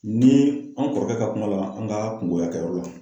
Ni an kɔrɔkɛ ka kuma dɔ la, an ka kungoya kɛyɔrɔ la